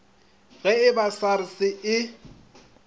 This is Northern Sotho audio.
ge e ba sars e